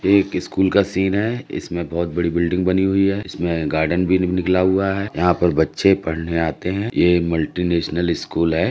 ये एक स्कूल का सीन है। इसमें बहुत बड़ी बिल्डिंग बनी हुई है इसमे गार्डन भी निकला हुआ है। यहाँ पर बच्चे पढ़ने आते है। ये मल्टिनॅशनल स्कूल है।